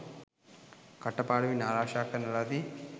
කටපාඩමින් ආරක්ෂා කරන ලදී.